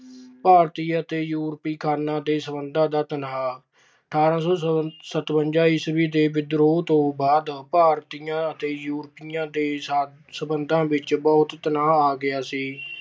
ਭਾਰਤੀ ਅਤੇ ਯੂਰਪੀ ਖਾਣਾਂ ਦੇ ਸਬੰਧਾਂ ਦਾ ਤਣਾਅ- ਅਠਾਰਾਂ ਸੌ ਸਤਵੰਜਾ ਈਸਵੀ ਦੇ ਵਿਦਰੋਹ ਤੋਂ ਬਾਅਦ ਭਾਰਤੀਆਂ ਅਤੇ ਯੂਰਪੀਆਂ ਦੇ ਸਬੰਧਾਂ ਵਿੱਚ ਬਹੁਤ ਤਣਾਅ ਆ ਗਿਆ ਸੀ।